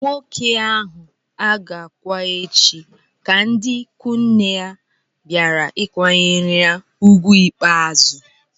Nwoke ahụ a ga-akwa echi ka ndị ikwu nne ya bịara ịkwanyere ugwu ikpeazụ